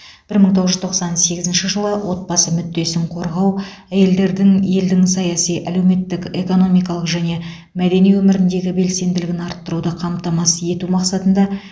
бір мың тоғыз жүз тоқсан сегізінші жылы отбасы мүддесін қорғау әйелдердің елдің саяси әлеуметтік экономикалық және мәдени өміріндегі белсенділігін арттыруды қамтамасыз ету мақсатында